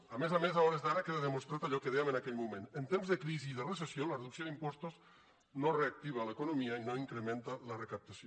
a més a més a hores d’ara queda demostrat allò que dèiem en aquell moment en temps de crisi i de recessió la reducció d’impostos no reactiva l’economia i no incrementa la recaptació